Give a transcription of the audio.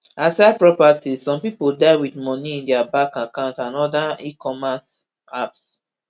aside properties some pipo die wit moni in dia bank account and oda ecommerce apps